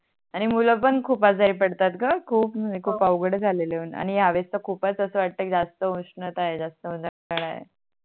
आणि मुलं पण खूप आजारी पडतात ग खूप म्हणजे खूप अवगड झालय आहे आणि हया वेळेस तर खूपच अस वाटते की जास्त उष्णता आहे जास्त उनाडा आहे